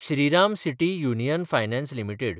Shriram city union finance limited